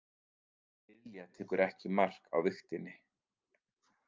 Lilja tekur ekki mark á vigtinni